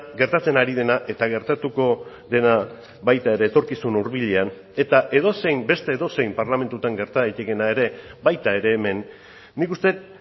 gertatzen ari dena eta gertatuko dena baita ere etorkizun hurbilean eta edozein beste edozein parlamentutan gerta daitekeena ere baita ere hemen nik uste dut